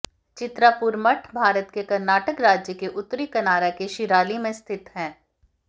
चित्रापुर मठ भारत के कर्नाटक राज्य के उत्तरी कनारा के शिराली में स्थित है